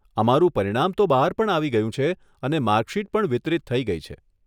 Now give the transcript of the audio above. અમારું પરિણામ તો બહાર પણ આવી ગયું છે, અને માર્કશીટ પણ વિતરિત થઇ ગઇ છે.